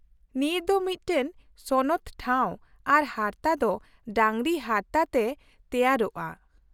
-ᱱᱤᱭᱟᱹ ᱫᱚ ᱢᱤᱫᱴᱟᱝ ᱥᱚᱱᱚᱛ ᱴᱷᱟᱶ ᱟᱨ ᱦᱟᱨᱛᱟ ᱫᱚ ᱰᱟᱹᱝᱨᱤ ᱦᱟᱨᱛᱟ ᱛᱮ ᱛᱮᱭᱟᱨᱚᱜᱼᱟ ᱾